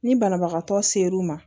Ni banabagatɔ ser'u ma